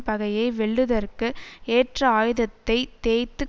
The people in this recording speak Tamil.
பகையை வெல்லுதற்கு ஏற்ற ஆயுதத்தைத் தேய்த்துக்